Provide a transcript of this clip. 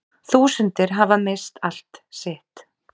Þúsundir hafa misst allt sitt